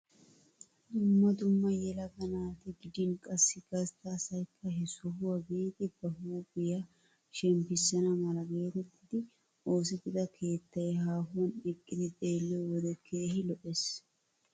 Dumma dumma yelaga naata gidin qassi gastta asayikka he sohuwaa biidi ba huuphphiyaa shemppisana mala getettidi oosettida keettay haahuwaan eqqidi xeelliyoo wode keehi lo"ees.